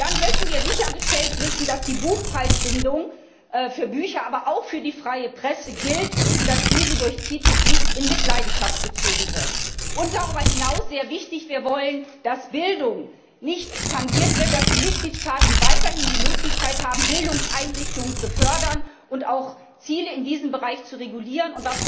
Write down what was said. Dann möchten wir sichergestellt wissen, dass die Buchpreisbindung für Bücher, aber auch für die freie Presse gilt und dass sie durch die TTIP nicht in Mitleidenschaft gezogen wird. Darüber hinaus sehr wichtig Wir wollen, dass Bildung nicht tangiert wird, dass die Mitgliedstaaten weiterhin die Möglichkeit haben, Bildungseinrichtungen zu fördern und auch Ziele in diesem Bereich zu regulieren.